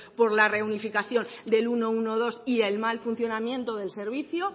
por la reunificación del ciento doce y el mal funcionamiento del servicio